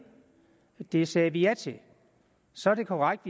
det sagde vi ja til så er det korrekt